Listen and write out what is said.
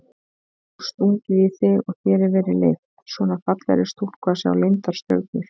Já stungið í þig og þér verið leyft, svona fallegri stúlku að sjá leyndar stjörnur?